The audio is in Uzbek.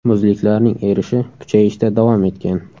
Muzliklarning erishi kuchayishda davom etgan.